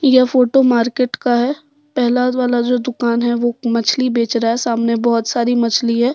यह photo market का है पहला वाला जो दुकान है वह मछली बेच रहा है सामने बहुत सारी मछली है।